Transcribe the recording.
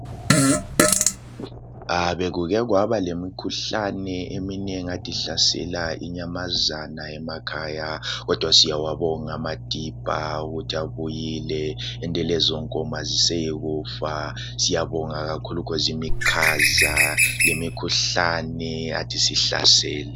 Bekukekwaba lemikhuhlane eminengi ade ihlasela inyamazana emakhaya, kodwa siyawabonga amadibha ukuthi abuyile ende lezonkomo aziseyokufa siyabonga kakhulu khozimikhaza lemikhuhlane adisihlasele.